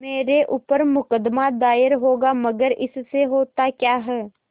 मेरे ऊपर मुकदमा दायर होगा मगर इससे होता क्या है